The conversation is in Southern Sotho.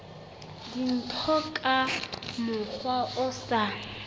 dintho ka mokgwa o sa